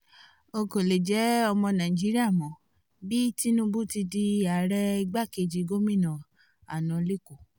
n kò lè jẹ́ ọmọ nàìjíríà mọ bí tinubu ti di ààrẹ igbakejì gómìnà àná lẹ́kọ́